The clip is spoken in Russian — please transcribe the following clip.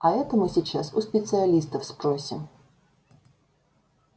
а это мы сейчас у специалистов спросим